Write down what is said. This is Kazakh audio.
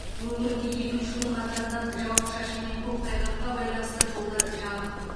өңірде екінші түн қатарынан жауын шашын мен көктайғаққа байланысты жолдар жабық